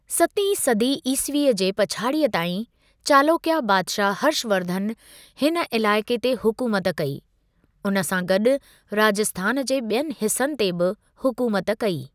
सतीं सदी ईसवीअ जे पछाड़ीअ ताईं, चालोकया बादशाह हर्ष वर्धन हिन इलाइक़े ते हुकूमत कई, उन सां गॾु राजस्थान जे ॿियनि हिस्सनि ते बि हुकूमत कई।